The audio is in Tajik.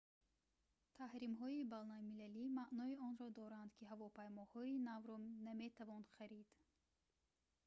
таҳримҳои байналмилалӣ маънои онро доранд ки ҳавопаймоҳои навро наметавон харид